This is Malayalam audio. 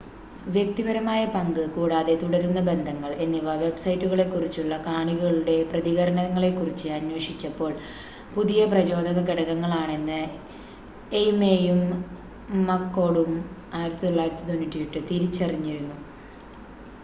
"""വ്യക്തിപരമായ പങ്ക്" കൂടാതെ "തുടരുന്ന ബന്ധങ്ങള്‍" എന്നിവ വെബ്സൈറ്റുകളെക്കുറിച്ചുള്ള കാണികളുടെ പ്രതികരണങ്ങളെക്കുറിച്ച് അന്വേഷിച്ചപ്പോള്‍ പുതിയ പ്രചോദക ഘടകങ്ങളാണെന്ന് ഐയ്മേയും മക്‍കോര്‍ഡും 1998 തിരിച്ചറിഞ്ഞിരുന്നു.